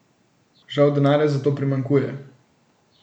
Žal denarja za to primanjkuje.